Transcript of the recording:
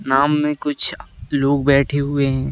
नाम में कुछ लोग बैठे हुए हैं।